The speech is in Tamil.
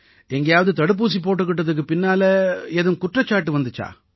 எங்கயாவது தடுப்பூசி போட்டுக்கிட்ட துக்குப் பின்னால ஏதும் குற்றச்சாட்டு வந்திச்சா